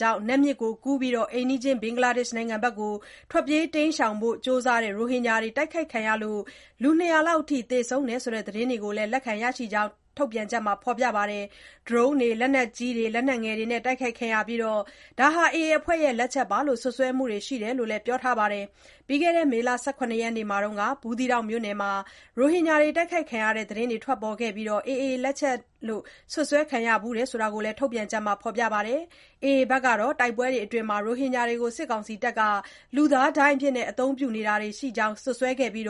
ကြောင့် နတ်မြစ်ကိုကူးပြီး အိမ်နီးချင်း ဘင်္ဂလားဒေ့ရှ် နိုင်ငံဘက် ထွက်ပြေးဖို့ ကြိုးစားကြတဲ့ ရိုဟင်ဂျာတွေ တိုက်ခိုက်ခံရမှုကြောင့် ၂၀၀ လောက်အထိ သေဆုံးတယ်ဆိုတဲ့ သတင်းတွေကို လက်ခံရရှိခဲ့ကြောင်းလည်း ထုတ်ပြန်ချက်မှာ ဖော်ပြခဲ့တာပါ။ ဒရုန်းတွေ၊ လက်နက်ကြီးတွေ၊ လက်နက်ငယ်တွေနဲ့ တိုက်ခိုက်ခံခဲ့ရပြီး၊ AA အဖွဲ့ရဲ့ လက်ချက်အဖြစ် စွပ်စွဲမှုတွေ ရှိတယ်လို့လည်း ပြောပါတယ်။ ပြီးခဲ့တဲ့ မေလ ၁၇ ရက်နေ့မှာ တုန်းကလည်း ဘူးသီးတောင်မြို့နယ်မှာ ရိုဟင်ဂျာတွေ တိုက်ခိုက်ခံခဲ့ရတဲ့ သတင်းတွေ ထွက်ပေါ်ခဲ့ပြီး AA အဖွဲ့ လက်ချက်အဖြစ် စွပ်စွဲခံခဲ့ရဖူးတယ်လို့လည်း ထုတ်ပြန်ချက်မှာ ဖော်ပြခဲ့တာပါ။ AA အဖွဲ့ကတော့ တိုက်ပွဲတွေအတွင်း ရိုဟင်ဂျာတွေကို စစ်ကောင်စီ တပ်တွေက လူသားဒိုင်းအဖြစ် အသုံးပြုတာတွေ ရှိခဲ့ကြောင်း စွပ်စွဲခဲ့ပြီး၊